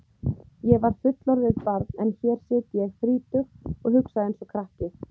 Ég var fullorðið barn en hér sit ég þrítug og hugsa einsog krakki.